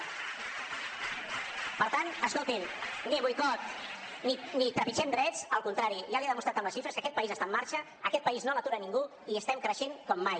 per tant escolti’m ni boicot ni trepitgem drets al contrari ja li he demostrat amb les xifres que aquest país està en marxa aquest país no l’atura ningú i estem creixent com mai